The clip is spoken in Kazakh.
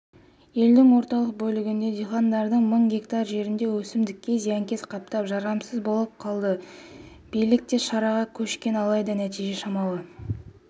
елдің орталық бөлігіндегі диқандардың мың гектар жеріндегі өсімдікке зиянкес қаптап жарамсыз болып қалды билік те шараға көшкен алайда нәтиже шамалы